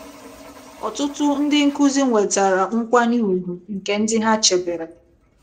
Ọtụtụ ndị nkụzi nwetara nkwanye ùgwù nke ndị ha chebere.